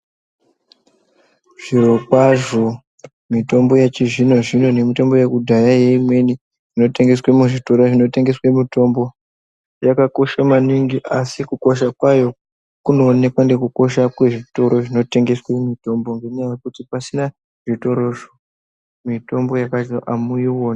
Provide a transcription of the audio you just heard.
Zvirokwazvo mitombo yechizvino-zvino nemitombo yekudhaya neimweni inotengeswa muzvitoro zvinotengese mitombo yakakosha maningi, asi kukosha kwayo kunooneka nekukosha kwezvitoro zvinotengeswe mitombo ngenyaya yekuti pasina zvitorozvo mitombo yepashiyo hamuioni.